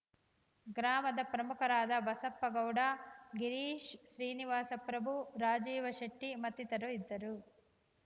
ಗ್ರಾಮದ ಪ್ರಮುಖರಾದ ಬಸಪ್ಪಗೌಡ ಗಿರೀಶ್‌ ಶ್ರೀನಿವಾಸ ಪ್ರಭು ರಾಜೀವ ಶೆಟ್ಟಿಮತ್ತಿತರರು ಇದ್ದರು